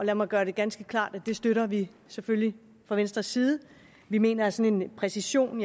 lad mig gøre det ganske klart at det støtter vi selvfølgelig fra venstres side vi mener at sådan en præcision